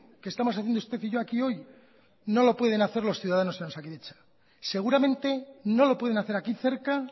que estamos haciendo usted y yo aquí hoy no lo pueden hacer los ciudadanos en osakidetza seguramente no lo pueden hacer aquí cerca